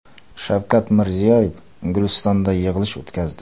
Shavkat Mirziyoyev Gulistonda yig‘ilish o‘tkazdi.